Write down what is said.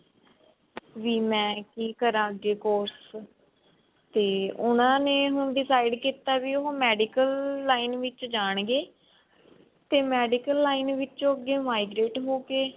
ਵੀ ਮੈਂ ਕਿ ਕਰ ਅੱਗੇ course ਤਵੇ ਉਹਨਾਂ ਨੇ ਹੁਣ decide ਕੀਤਾ ਵੀ ਉਹ medical line ਵਿੱਚ ਜਾਣਗੇ ਤੇ medical line ਵਿੱਚੋ ਅੱਗੇ migrate ਹੋ ਕੇ